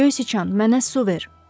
Göz Sichan, mənə su ver.